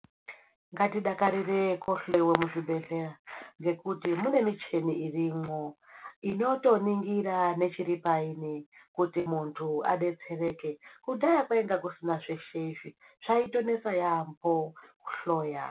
Ngatidakarire kuhloiwa muzvibhedhlera kuti mune michini irimo inotoningira nechiri pashi kuti muntu adetsereke kudhaya kwanga kusina michini kwainesa kwemene kuhloya.